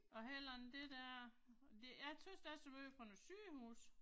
Og heller ikke det der. Det jeg synes det er så meget fra nogle sygehuse